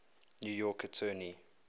new york attorney